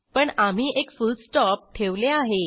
पण आम्ही एक फुलस्टॉप ठेवले आहे